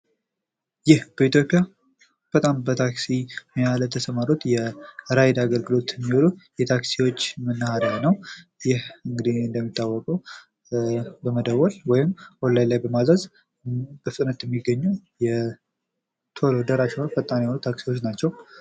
ይህ በኢትዮጵያ በጣም በታክሲ ሙያ ላይ በተሰማሩት የራይድ አገልግሎት የሚዉሉት መናሃሪያ ነው ፤ እነኚህ እንግዲህ በመደወል ወይም ኦላይን ላይ በማዘዝ በፍጥነት የሚገኙ ታክሲዎች ናቸው።